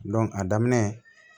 a daminɛ